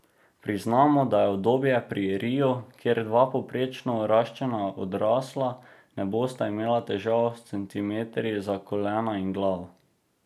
Priznamo, da je udobneje pri riu, kjer dva povprečno raščena odrasla ne bosta imela težav s centimetri za kolena in glavo.